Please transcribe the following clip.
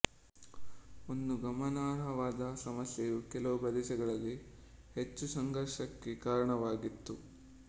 ಒಂದು ಗಮನಾರ್ಹವಾದ ಸಮಸ್ಯೆಯು ಕೆಲವು ಪ್ರದೇಶಗಳಲ್ಲಿ ಹೆಚ್ಚು ಸಂಘರ್ಷಕ್ಕೆ ಕಾರಣವಾಗಿತ್ತು